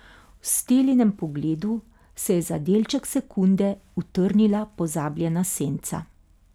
V Stellinem pogledu se je za delček sekunde utrnila pozabljena senca.